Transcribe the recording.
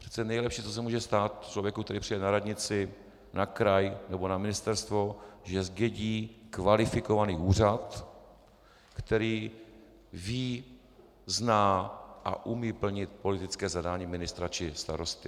Přece nejlepší, co se může stát člověku, který přijde na radnici, na kraj nebo na ministerstvo, že zdědí kvalifikovaný úřad, který ví, zná a umí plnit politické zadání ministra či starosty.